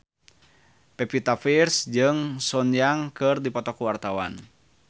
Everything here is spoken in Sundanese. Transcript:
Pevita Pearce jeung Sun Yang keur dipoto ku wartawan